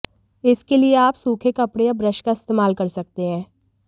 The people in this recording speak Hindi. इसके लिए आप सूखे कपड़े या ब्रश का इस्तेमाल कर सकते हैं